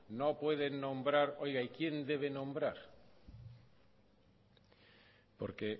no pueden nombrar oiga y quién debe nombrar porque